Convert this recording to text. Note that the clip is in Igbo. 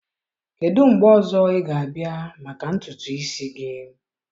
kedụ mgbe ọzọ ị ga-abịa maka ntutu isi gị?